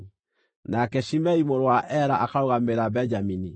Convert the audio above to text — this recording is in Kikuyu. nake Shimei mũrũ wa Ela akarũgamĩrĩra Benjamini;